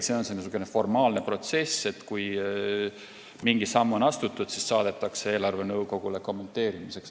See on niisugune formaalne protsess – kui mingi samm on astutud, siis saadetakse see eelarvenõukogule kommenteerimiseks.